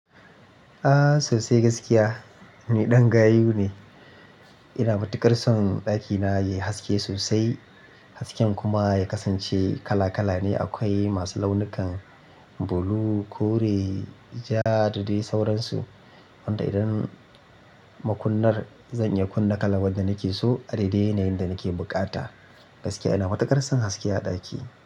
Aaa sosai gaskiya, ni ɗan gayu ne. Ina matu ƙarsan ɗakina yai haske sosai, hasken kuma ya kasance kala kala ne. Akwai masu launukan blue, kore, ja da dai sauransu. Wanda idan makunnar zan iya kunna kalan wadda nake so a daidai nayin da nake buƙata. Gaskiya ina matuƙar san haske a ɗaki.